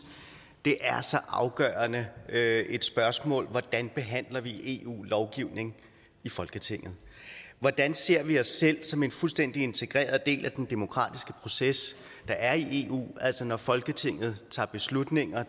det er så afgørende et spørgsmål altså hvordan behandler vi eu lovgivning i folketinget hvordan ser vi os selv som en fuldstændig integreret del af den demokratiske proces der er i eu altså når folketinget tager beslutninger